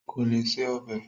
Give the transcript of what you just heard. Kò lè se ọbẹ̀